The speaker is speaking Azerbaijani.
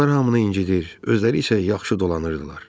Onlar hamını incidirdi, özləri isə yaxşı dolanırdılar.